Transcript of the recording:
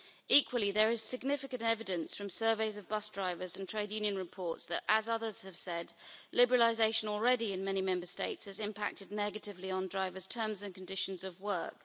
Equally, there is significant evidence, from surveys of bus drivers and trade union reports, that, as others have said, the liberalisation already in place in many Member States has impacted negatively on drivers' terms and conditions of work.